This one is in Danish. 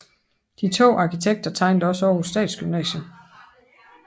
De to arkitekter tegnede også Århus Statsgymnasium